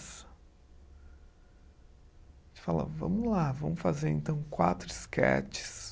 A gente fala, vamos lá, vamos fazer então quatro esquetes.